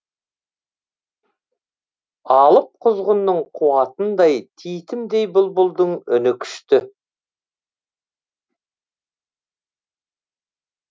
алып құзғынның қуатындай титімдей бұлбұлдың үні күшті